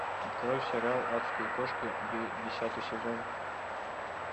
открой сериал адские кошки десятый сезон